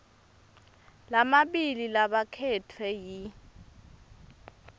lamabili labakhetfwe yi